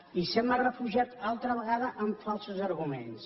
i se m’ha refugiat altra vegada en falsos arguments